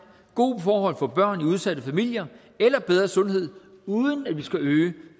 gode forhold for børn i udsatte familier eller bedre sundhed uden at vi skal øge